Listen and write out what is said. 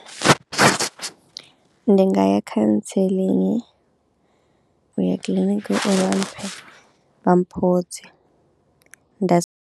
Ndi nga ya cancelling, u ya kiḽiniki uri vha mphe vha mphodze nda si.